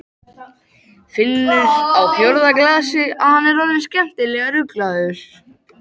Finnur á fjórða glasi að hann er orðinn skemmtilega ruglaður.